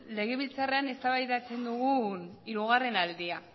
legebiltzarrean eztabaidatzen dugun hirugarren aldia